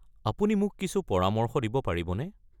আপুনি মোক কিছু পৰামৰ্শ দিব পাৰিবনে?